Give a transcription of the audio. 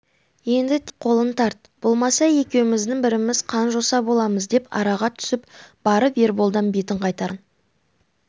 енді тек қолың тарт болмаса екеуміздің біріміз қан-жоса боламыз деп араға түсіп барып ерболдан бетін қайтарған